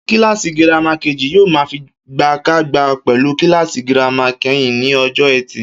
Kíláàsì girama kejì yóò máa figagbága pè̩lú kíláàsì girama ké̩rin ní o̩jò̩ E̩tì